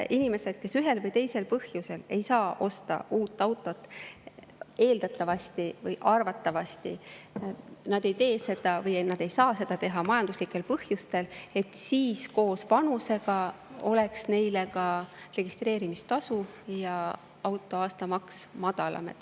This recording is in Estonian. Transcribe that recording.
Inimesed, kes ühel või teisel põhjusel ei osta uut autot, eeldatavasti või arvatavasti ei tee seda majanduslikel põhjustel ja vastavalt vanusele on neile registreerimistasu ja auto aastamaks madalam.